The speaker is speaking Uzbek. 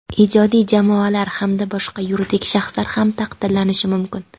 ijodiy jamoalar hamda boshqa yuridik shaxslar ham taqdirlanishi mumkin.